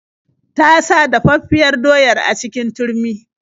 Ta sa dafaffiyar doyar a cikin turmi.